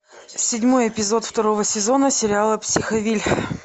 седьмой эпизод второго сезона сериала психовилль